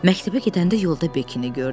Məktəbə gedəndə yolda Bekini gördü.